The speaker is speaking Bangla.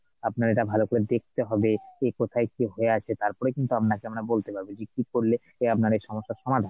আপনার এটা ভালো করে দেখতে হবে, কি কোথায় হয়ে আছে তারপরে কিন্তু আপনাকে আমরা বলতে পারবো যে কি করলে আপনার এই সমস্যার সমাধান,